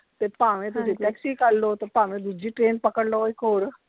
ਤੇ ਭਾਵੇਂ ਤੁਸੀਂ taxi ਕਰਲੋ, ਤੇ ਭਾਵੇਂ ਦੂਜੀ train ਪਕੜ ਲੋ ਇੱਕ ਹੋਰ।